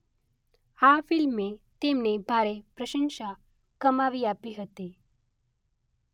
આ ફિલ્મે તેમને ભારે પ્રશંસા કમાવી આપી હતી